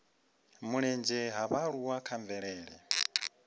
mulenzhe ha vhaaluwa kha mvelele